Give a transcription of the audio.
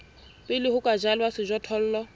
pele ho ka jalwa sejothollo